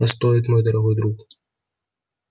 а стоит мой дорогой друг